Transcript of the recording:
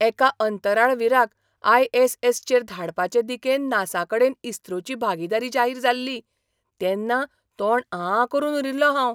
एका अंतराळवीराक I. S. S. चेर धाडपाचे दिकेन नासाकडेन इस्रोची भागिदारी जाहीर जाल्ली तेन्ना तोंड आं करून उरिल्लो हांव!